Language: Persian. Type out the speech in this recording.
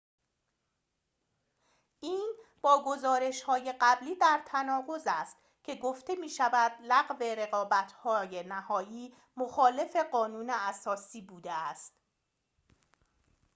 این با گزارش‌های قبلی در تناقض است که گفته می‌شود لغو رقابت نهایی مخالف قانون اساسی بوده است